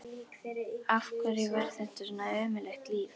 Af hverju var þetta svona ömurlegt líf?